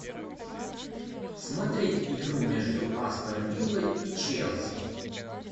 смотреть игру между астон виллой и челси